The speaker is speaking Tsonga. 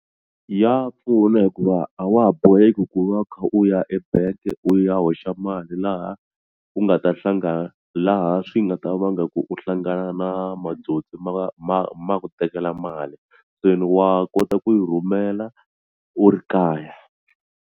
Ya pfuna hikuva a wa ha boheki ku va u kha u ya ebank u ya hoxa mali laha u nga ta hlangana laha swi nga ta vanga ku u hlangana na matsotsi ma ma ma ku tekela mali se wa kota ku yi rhumela u ri kaya.